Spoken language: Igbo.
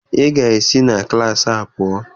Ị ga-esi na klaasị a pụọ!